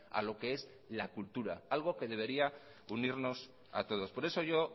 a lo que es la cultura algo que debería de unirnos a todos por eso yo